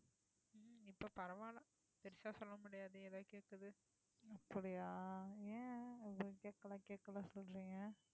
அப்படியா ஏன் இவ்வளோ கேக்கலை கேக்கலைன்னு சொல்றீங்க